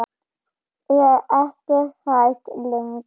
Er ekki hrædd lengur.